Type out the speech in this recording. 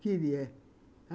Queria.